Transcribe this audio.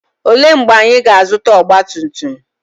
Olee mgbe anyị ga-azụta ọgba tum tum?